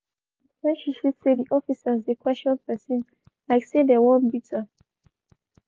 she waka quick quick when she see say di officers dey question pesin like say dem wan beat am.